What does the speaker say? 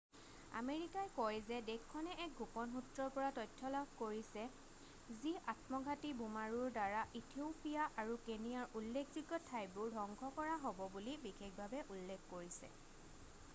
"আমেৰিকাই কয় যে দেশখনে এক গোপন সূত্ৰৰ পৰা তথ্য লাভ কৰিছে যি আত্মঘাতী বোমাৰুৰ দ্বাৰা ইথিওপিয়া আৰু কেনিয়াৰ "উল্লেখযোগ্য ঠাইবোৰ" ধ্বংস কৰা হ'ব বুলি বিশেষভাৱে উল্লেখ কৰিছে। "